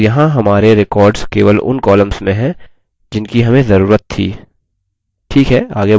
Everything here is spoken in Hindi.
और यहाँ हमारे records केवल उन columns में हैं जिनकी हमें जरूरत थी